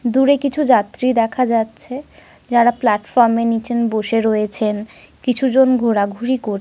দূরে কিছু যাত্রী দেখা যাচ্ছে যারা প্ল্যাটফর্ম -এর নিচে বসে রয়েছেন কিছুজন ঘোরাঘুরি কর--